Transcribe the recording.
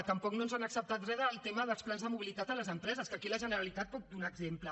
tampoc no ens han acceptat res del tema dels plans de mobilitat a les empreses que aquí la generalitat en pot donar exemple